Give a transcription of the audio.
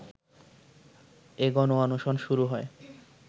এ গণঅনশন শুরু হয়